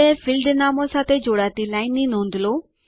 આ બે ફિલ્ડ નામો સાથે જોડાતી લાઈન ની નોંધ લો